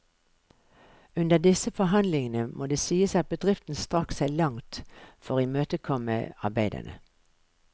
Under disse forhandlingene må det sies at bedriften strakk seg langt for å imøtekomme arbeiderne.